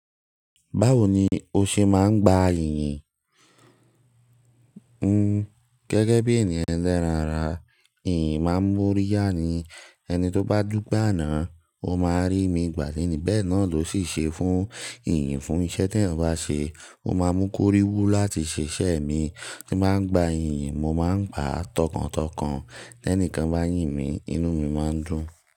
Báwo ni o ṣe máa ń gba yìnyín? Hmm gẹ́gẹ́ bí ènìyàn elẹ́ràn ara, ìyìn máa ń mú orí yáa ni. Ẹni tó bá dúpe a náà, ó máa rí mi gbà leni bẹ́ẹ̀ náà ló ṣì ṣe fún ìyìn fún iṣẹ́ tẹ̀ yan bá ṣe, ó máa mú kó rí wú láti ṣé iṣe mi. Bí mo bá ń gba iyìn, mo máa ń gbá tọkàntọkàn. Tẹ́ní kan bá yìn mí, inú mi máa ń dùn.